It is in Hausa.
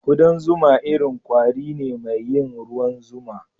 Kudan zuma irin kwari ne mai yin ruwan zuma.